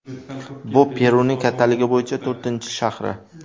Bu Peruning kattaligi bo‘yicha to‘rtinchi shahri.